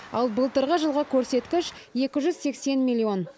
ал былтырғы жылғы көрсеткіш екі жүз сексен миллион